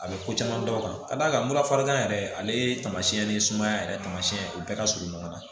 A bɛ ko caman dɔn ka d'a kan murakan yɛrɛ ale tamasiyɛn ni sumaya yɛrɛ tamasiyɛn u bɛɛ ka surun ɲɔgɔn na